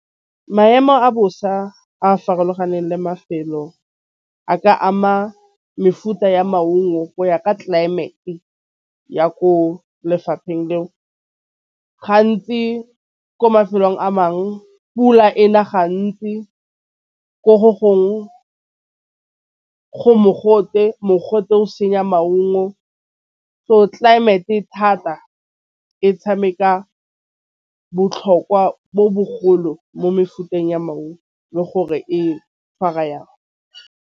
Maemo a bosa a farologaneng le mafelo a ka ama mefuta ya maungo go ya ka tlelaemete ya ko lefapheng leo. Gantsi ko mafelong a mangwe pula e na gantsi ko go gongwe go mogote, mogote o senya maungo tlelaemete thata e tšhameka botlhokwa bo bogolo mo mefuteng ya maungo le gore e tšhwara yang.